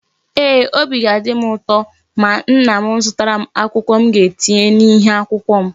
Eeh, Obi ga-adim uto ma nna m zụtara m akwụkwọ m ga etinye na ihe akwụkwọ m